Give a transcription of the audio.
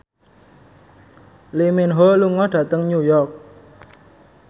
Lee Min Ho lunga dhateng New York